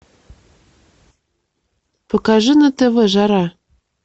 покажи на тв жара